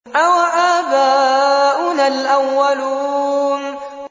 أَوَآبَاؤُنَا الْأَوَّلُونَ